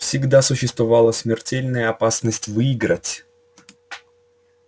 всегда существовала смертельная опасность выиграть